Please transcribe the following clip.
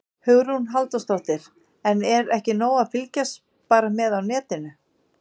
Hugrún Halldórsdóttir: En er ekki nóg að fylgjast bara með á netinu?